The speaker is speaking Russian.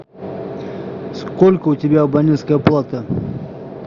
сколько у тебя абонентская плата